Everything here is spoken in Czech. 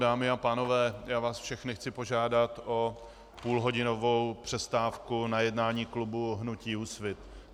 Dámy a pánové, já vás všechny chci požádat o půl hodinovou přestávku na jednání klubu hnutí Úsvit.